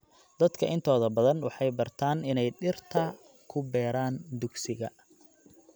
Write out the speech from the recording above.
Dadka intooda badan waxay bartaan inay dhirta ku beeraan dugsiga.